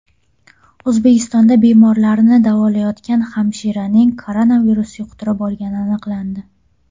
O‘zbekistonda bemorlarni davolayotgan hamshiraning koronavirus yuqtirib olgani aniqlandi.